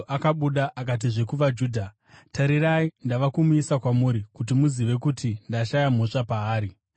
Pirato akabuda akatizve kuvaJudha, “Tarirai, ndava kumuisa kwamuri kuti muzive kuti ndashaya mhosva paari.”